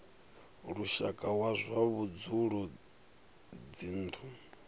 lushaka wa zwa vhudzulo dzinnu